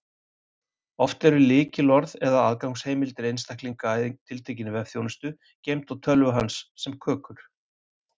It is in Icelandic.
Oft eru lykilorð eða aðgangsheimildir einstaklings að tiltekinni vefþjónustu geymd á tölvu hans sem kökur.